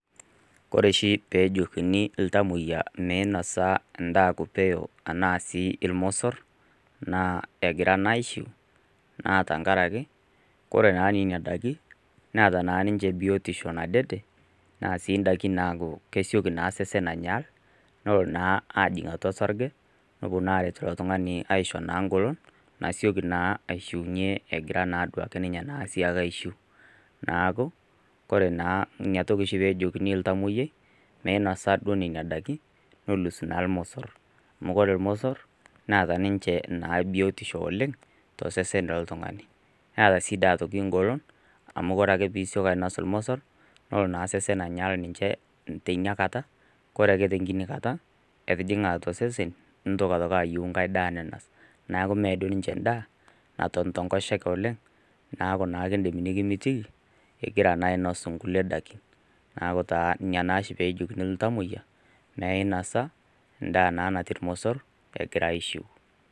Kore oshi pejokini iltamoyia meinosa indaa kupeyo anaa sii irmosorr naa egira naa aishiu naa tankarake kore naa nenia daiki neeta naa ninche biotisho nadede naa sii ndaki naku kesioki naa sesen anyaal nolo naa ajing atua sarge nopuo naa aret ilo tung'ani aisho naa ngolon nasioki naa aishiunyie egira naduake ninye naa sii ake aishiu naaku kore naa inia toki oshi pejokini iltamoyiai meinosa duo nenia daiki nelus naa ilmosorr amu kore ilmosorr naata ninche naa biotisho oleng tosesen loltung'ani naata sii daa atoki ingolon amu kore ake pisioki ainos ilmosorr nolo naa sesen anyaal ninche teinia kata kore ake tenkini kata etijing'a atua sesen nintok atoki ayieu nkae daa ninos naku mee doi ninche ndaa naton tenkoshoke oleng naku naa kindim nikimitiki igira naa ainos nkulie dakin naku naa inia naa oshi pejokini iltamoyia meinasa indaa naa natii irmosorr egira aishiu.